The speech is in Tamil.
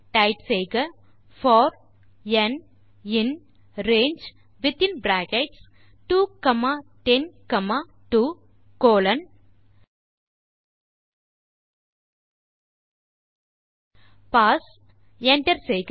டைப் செய்க போர் ந் இன் ரங்கே வித்தின் bracket 2 comma 10 comma 2 colon pass Enter செய்க